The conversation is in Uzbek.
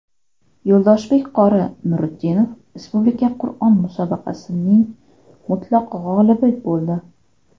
Yo‘ldoshbek qori Nuriddinov respublika Qur’on musobaqasining mutlaq g‘olibi bo‘ldi.